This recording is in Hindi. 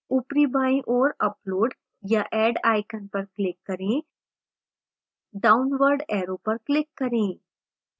ऊपरी बाईं ओर upload या add icon पर click करें downward ऐरो पर click करें